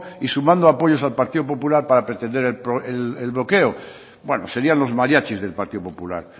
y sumando apoyos al partido popular para pretender el bloqueo bueno serían los mariachis del partido popular